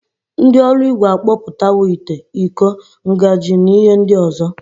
Ndi oruigwe akpoputawo ite, Iko, njagi na ihe ndi ozo.